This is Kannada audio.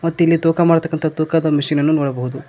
ಮತ್ತಿಲ್ಲಿ ತೂಕ ಮಾಡ್ತಕ್ಕಂತ ತೂಕದ ಮಿಷಿನ್ ಅನ್ನು ನೋಡಬಹುದು.